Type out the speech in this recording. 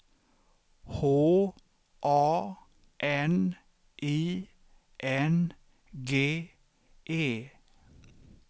H A N I N G E